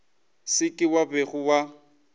se ke wa be wa